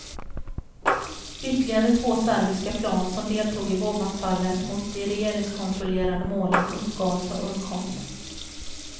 Ytterligare två serbiska plan som deltog i bombanfallet mot de regeringskontrollerade målen uppgavs ha undkommit.